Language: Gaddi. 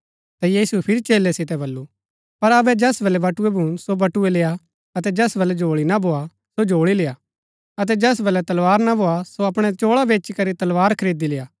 ता यीशुऐ फिरी चेलै सितै बल्लू पर अबै जैस बलै बटुए भून सो बटुए लेआ अतै जैस वलै झोल्ळी ना भोआ सो झोल्ळी लेआ अतै जैस वलै तलवार ना भोआ सो अपणै चोळा बेचीकरी तलवार खरीदी लेआ